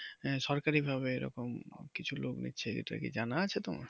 সরকারি ভাবে এরকম কিছু লোক নিচ্ছে এটা কি জানা আছে তোমার?